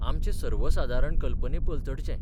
आमचे सर्वसादारण कल्पने पलतडचे.